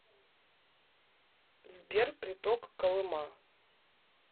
сбер приток колыма